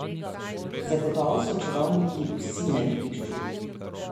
Zagotovo so čarovniki vsi na igrišču.